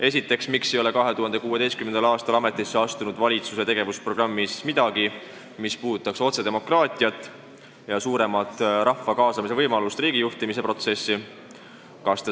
Esiteks: miks ei ole 2016. aastal ametisse astunud valitsuse tegevusprogrammis midagi, mis puudutaks otsedemokraatiat ja suuremat võimalust kaasata rahvast riigijuhtimise protsessi?